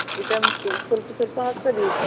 vitamin ಸ್ವಲ್ಪ ಸ್ವಲ್ಪ ಹಾಕ್ತದೆ ಈಗ.